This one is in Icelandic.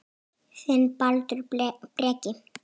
Þinn, Baldur Breki.